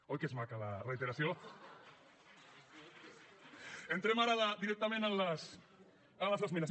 oi que es maca la reiteració entrem ara directament en les esmenes